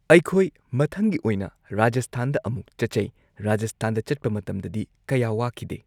ꯑꯩꯈꯣꯏ ꯃꯊꯪꯒꯤ ꯑꯣꯏꯅ ꯔꯥꯖꯁꯊꯥꯟꯗ ꯑꯃꯨꯛ ꯆꯠꯆꯩ ꯔꯥꯖꯁꯊꯥꯟꯗ ꯆꯠꯄ ꯃꯇꯝꯗꯗꯤ ꯀꯌꯥ ꯋꯥꯈꯤꯗꯦ꯫